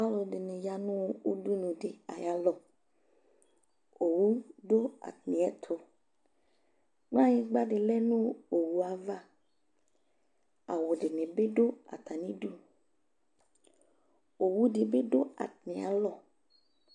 alo ɛdini ya no udunu di ayalɔ owu do atamiɛto kplayigba di lɛ no owue ava awu di ni bi do atami du owu di bi do atami alɔ